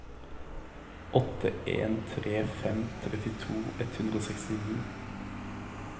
åtte en tre fem trettito ett hundre og sekstini